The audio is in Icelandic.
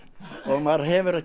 maður hefur ekkert